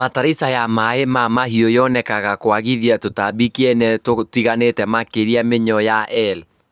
Bataraitha ya maĩ ma mahiũ yonekanaga kwagithia tũtambi kĩene tũtiganĩte makĩria mĩnyoo ya eel